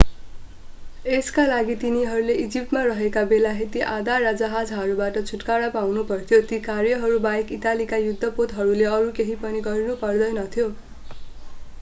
यसका लागि तिनीहरूले इजिप्टमा रहेका बेलायती आधार र जहाजहरूबाट छुटकारा पाउनुपर्थ्यो ती कार्यहरूबाहेक इटालीका युद्धपोतहरूले अरू केही पनि गर्नु पर्दैनथ्यो